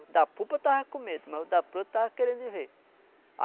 O da pupa estava com medo, mas o da ponta estava querendo ir ver.